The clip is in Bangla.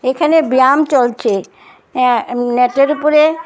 এখানে ব্যায়াম চলছে অ্যাঁ উম ম্যাটের উপরে--